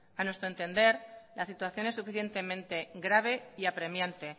a nuestro entender la situación es suficientemente grave y apremiante